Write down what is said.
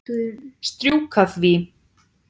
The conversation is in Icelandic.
Strjúka því.